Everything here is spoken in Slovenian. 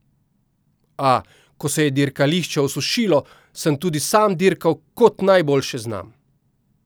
A, ko se je dirkališče osušilo, sem tudi sam dirkal, kot najbolje znam.